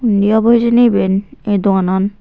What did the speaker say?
hunni obo hejeni eben ay doaanan.